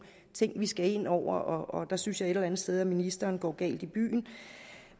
ting vi skal have ind over og der synes jeg et eller andet sted at ministeren går galt i byen